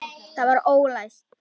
Það var ólæst.